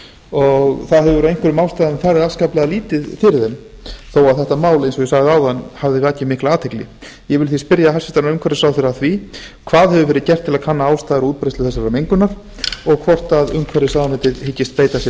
og það hefur af einhverjum ástæðum farið afskaplega lítið fyrir þeim þó að þetta mál eins og ég sagði áðan hafi vakið mikla athygli ég vil því spyrja hæstvirtur umhverfisráðherra að því hvað hefur verið gert til að kanna ástæður og útbreiðslu þessarar mengunar og hvort umhverfisráðuneytið hyggist beita sér